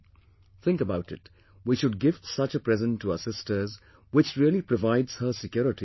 Think about it, we should gift such a present to our sisters, which really provides her security in future